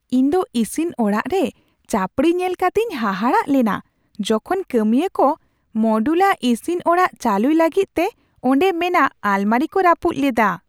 ᱤᱧᱫᱚ ᱤᱥᱤᱱ ᱚᱲᱟᱜ ᱨᱮ ᱪᱟᱹᱯᱲᱤ ᱧᱮᱞ ᱠᱟᱛᱤᱧ ᱦᱟᱦᱟᱲᱟᱜ ᱞᱮᱱᱟ ᱡᱚᱠᱷᱚᱱ ᱠᱟᱹᱢᱤᱭᱟᱹ ᱠᱚ ᱢᱚᱰᱩᱞᱟ ᱤᱥᱤᱱ ᱚᱲᱟᱜ ᱪᱟᱹᱞᱩᱭ ᱞᱟᱹᱜᱤᱫ ᱛᱮ ᱚᱸᱰᱮ ᱢᱮᱱᱟᱜ ᱟᱞᱢᱟᱨᱤᱠᱚ ᱨᱟᱹᱯᱩᱫ ᱞᱮᱫᱟ ᱾